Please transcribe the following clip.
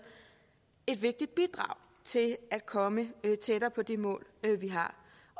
et vigtigt bidrag til at komme tættere på de mål vi har